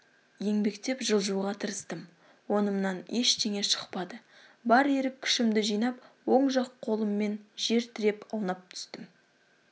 еңбектеп жылжуға тырыстым онымнан ештеңе шықпады бар ерік-күшімді жинап оң жақ қолыммен жер тіреп аунап түстім